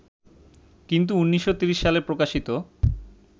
কিন্তু ১৯৩০ সালে প্রকাশিত